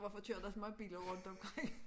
Hvorfor kører der så mange biler rundt omkring?